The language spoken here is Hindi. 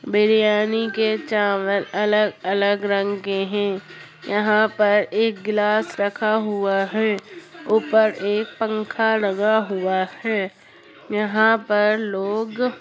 बिरयानी के चावल अलग-अलग रंग के हैं। यहाँ पर एक गिलास रखा हुआ है ऊपर एक पंखा लगा हुआ है। यहाँ पर लोग --